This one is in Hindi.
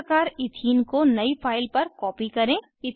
इसी प्रकार ईथीन को नयी फाइल पर कॉपी करें